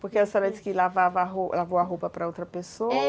Porque a senhora disse que lavava a ro, lavou a roupa para outra pessoa.